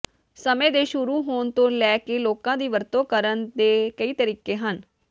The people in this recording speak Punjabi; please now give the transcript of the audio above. ਸਮੇਂ ਦੇ ਸ਼ੁਰੂ ਹੋਣ ਤੋਂ ਲੈ ਕੇ ਲੋਕਾਂ ਦੀ ਵਰਤੋਂ ਕਰਨ ਦੇ ਕਈ ਤਰੀਕੇ ਹਨ